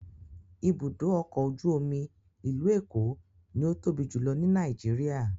Ibùdó ọkọ̀ ojú omi ìlú Èkó ni ó tóbi jùlọ ní Nàìjíríà.